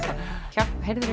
hjálp heyrðir